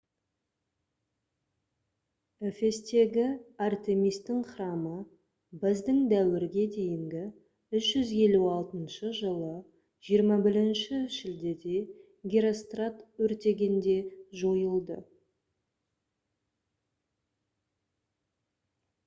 эфестегі артемистің храмы б.д.д. 356 жылы 21 шілдеде герострат өртегенде жойылды